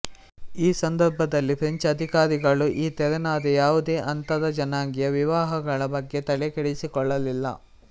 ಈ ಸಂದರ್ಭದಲ್ಲಿ ಫ್ರೆಂಚ್ ಅಧಿಕಾರಿಗಳು ಈ ತೆರನಾದ ಯಾವುದೇ ಅಂತರಜನಾಂಗೀಯ ವಿವಾಹಗಳ ಬಗ್ಗೆ ತಲೆ ಕೆಡಿಸಿಕೊಳ್ಳಲಿಲ್ಲ